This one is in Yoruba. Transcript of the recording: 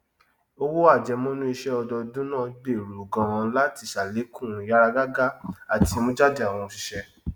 owó àjẹmọnú isẹ ọdọọdún náà gbèrú ganan láti sàlékún ìyáragágá àti ìmújáde àwọn òṣìṣẹ